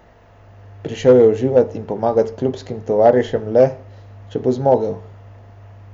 Prišel je uživat in pomagat klubskim tovarišem le, če bo zmogel.